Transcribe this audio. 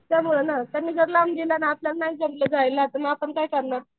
त्यांनी लावून दिलं आपल्याला नाही जमलं जायला आपण आपण काय करणार?